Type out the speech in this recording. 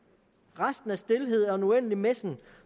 resten er stilhed og en uendelig messen